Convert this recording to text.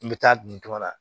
N bɛ taa duntuma na